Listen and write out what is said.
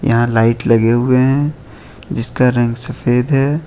यहां लाइट लगे हुए हैं जिसका रंग सफेद है।